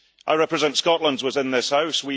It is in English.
I represent Scotland within this House.